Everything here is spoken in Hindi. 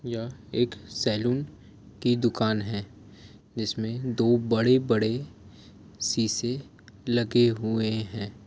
यह एक सेलून की दुकान है जिसमे दो बड़े बड़े सीसे लगे हुए है।